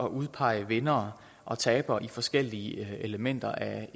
udpege vindere og tabere i forskellige elementer af